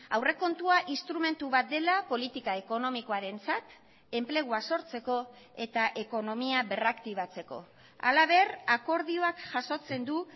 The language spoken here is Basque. aurrekontua instrumentu bat dela politika ekonomikoarentzat enplegua sortzeko eta ekonomia berraktibatzeko halaber akordioak jasotzen du